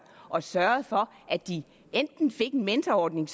og sørget for at de enten fik en mentorordning